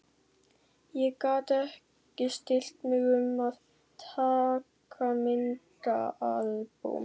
Ég gat ekki stillt mig um að taka myndaalbúm.